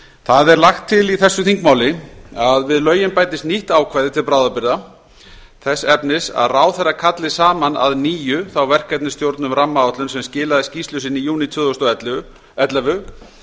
það er lagt til í þessu þingmáli að við lögin bætist nýtt ákvæði til bráðabirgða þess efnis að ráðherra ætli saman að nýju þá verkefnisstjórn um rammaáætlun sem skilaði skýrslu sinni í júní tvö þúsund og ellefu